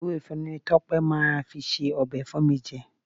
Ewé efinrin ni Tọ́pẹ́ máa fi se ọbẹ̀ fún mi jẹ